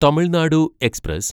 Tamil Nadu express